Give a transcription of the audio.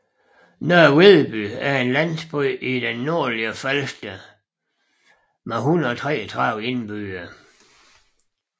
Nørre Vedby er en landsby på det nordlige Falster med 133 indbyggere